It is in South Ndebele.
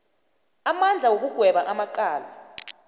amandla wokugweba amacala